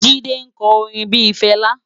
Jide nkò órin bi Fela